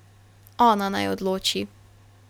Ona naj odloči.